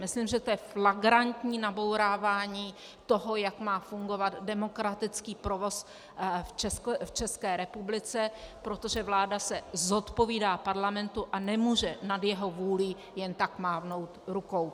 Myslím, že to je flagrantní nabourávání toho, jak má fungovat demokratický provoz v České republice, protože vláda se zodpovídá Parlamentu a nemůže nad jeho vůlí jen tak mávnout rukou.